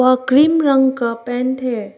और क्रीम रंग का पेंट है।